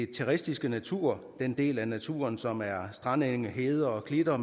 terrestiske natur den del af naturen som er strandenge hede og klitter